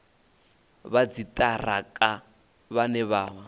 vha dziṱhirakha vhane vha vha